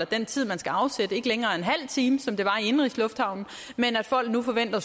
den tid man skal afsætte ikke længere er en halv time som det var i indenrigslufthavnen men at folk nu forventer at